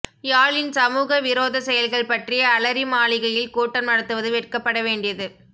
யாழின் சமூகவிரோதச் செயல்கள் பற்றி அலரிமாளிகையில் கூட்டம் நடத்துவது வெட்கப்பட வேண்டியது